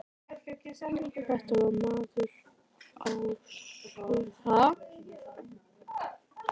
Þetta var maður á svölum á húsi í grenndinni.